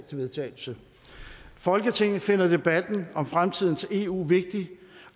til vedtagelse folketinget finder debatten om fremtidens eu vigtig